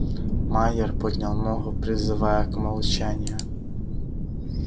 майер поднял ногу призывая к молчанию